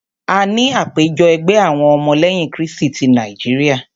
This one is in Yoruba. A ní àpéjọ ẹgbẹ́ àwọn ọmọ lẹ́yìn krístì tí Nàíjíríà.